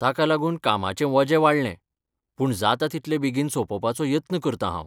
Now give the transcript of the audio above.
ताका लागून कामांचें वजें वाडलें, पूण जाता तितले बेगीन सोंपोवपाचो यत्न करतां हांव.